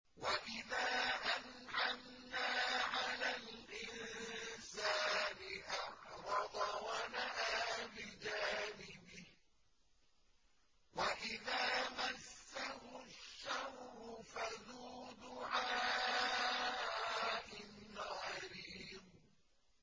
وَإِذَا أَنْعَمْنَا عَلَى الْإِنسَانِ أَعْرَضَ وَنَأَىٰ بِجَانِبِهِ وَإِذَا مَسَّهُ الشَّرُّ فَذُو دُعَاءٍ عَرِيضٍ